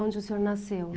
Onde o senhor nasceu.